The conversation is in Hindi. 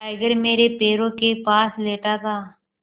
टाइगर मेरे पैरों के पास लेटा था